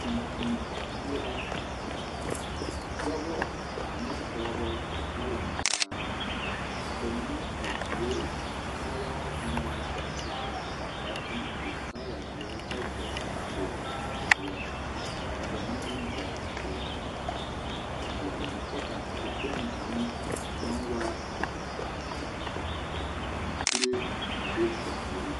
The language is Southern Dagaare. Tontoŋ zie la dɔba ane pɔgeba la laŋ taa ba mine a sue kaayaa naŋ waana bɛŋ vaare ka kaŋ su kaayaa zie kyɛ vɔgle kpol zie ka bamine vɔgle kpol peɛla kyɛ ka dikpoŋ kaŋ naŋ waa kuree a be ba puoriŋ.